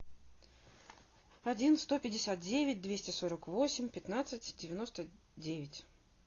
один сто пятьдесят девять двести сорок восемь пятнадцать девяносто девять